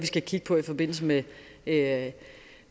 skal kigge på i forbindelse med at